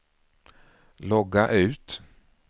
logga ut